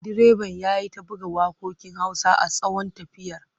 Direban ya yi ta buga waƙoƙin Hausa a tsawon tafiyar.